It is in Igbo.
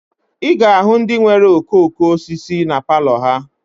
Ị ga-ahụ ndị nwere okooko osisi na palọ ha